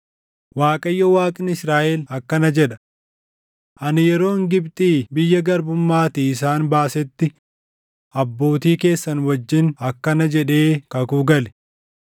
“ Waaqayyo Waaqni Israaʼel akkana jedha: Ani yeroon Gibxii biyya garbummaatii isaan baasetti abbootii keessan wajjin akkana jedhee kakuu gale;